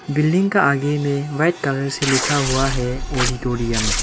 Building का आगे में व्हाइट कलर से लिखा हुआ है ऑडिटोरियम ।